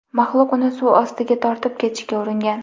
Maxluq uni suv ostiga tortib ketishga uringan.